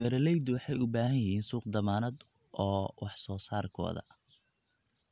Beeraleydu waxay u baahan yihiin suuq dammaanad ah oo wax soo saarkooda.